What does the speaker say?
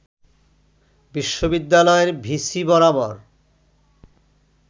বিশ্ববিদ্যালয়ের ভিসি বরাবর